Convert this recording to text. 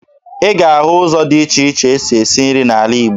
Ị ga-ahụ ụzọ dị iche iche e si esi nri n'ala Igbo